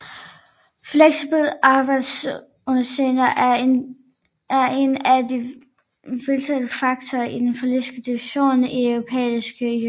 Fleksible arbejdstidsordninger er en af de vitale faktorer i den politiske diskurs i Den Europæiske Union